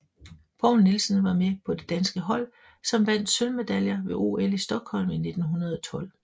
Poul Nielsen var med på det danske hold som vandt sølvmedaljer ved OL i Stockholm 1912